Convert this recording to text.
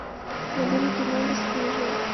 набери кино бесстыжие